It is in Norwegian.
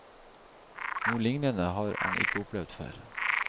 Noe lignende har han ikke opplevd før.